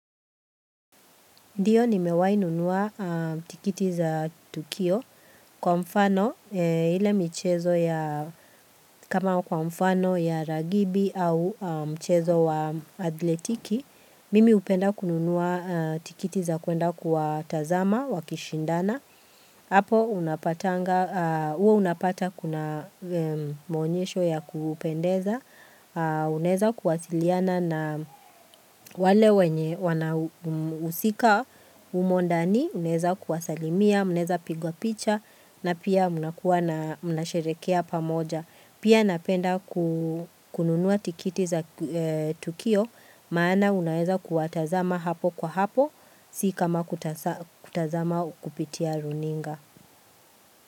Ndiyo nimewahi nunua tikiti za tukio kwa mfano ile mchezo ya kama kwa mfano ya ragibi au mchezo wa athletiki Mimi hupenda kununua tikiti za kuenda kuwatazama wakishindana. Hapo unapata kuna maonyesho ya kupendeza, unaeza kuwasiliana na wale wenye wanahusika humo ndani, unaeza kuwasalimia, mnaeza pigwa picha na pia mnakuwa na mnasherehekea pamoja. Pia napenda kununua tikiti za tukio maana unaweza kuwatazama hapo kwa hapo si kama kutazama kupitia runinga.